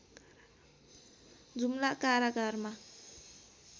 जुम्ला कारागारमा